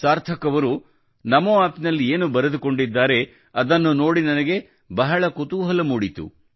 ಸಾರ್ಥಕ್ ಅವರು ನಮೋ ಆಪ್ ನಲ್ಲಿ ಏನು ಬರೆದುಕೊಂಡಿದ್ದಾರೆ ಅದನ್ನು ನೋಡಿ ನನಗೆ ಬಹಳ ಕುತೂಹಲ ಮೂಡಿಸಿತು